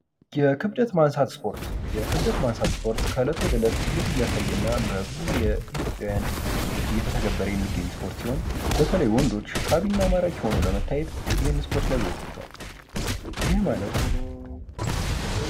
የክብደት ማንሳት ስፖርት የክብደት ማንሳት ስፖርት ከእለት ወደ እለት እድገት እያሳየና በብዙ የኢትዮጵያውያን እየተተገበረ የሚገኝ ስፖርት ሲሆን በተለይ ወንዶች ሳቢና ማራኪ የሆነው ለመታየት ይህን ስፖርት ያዙታል ማለት...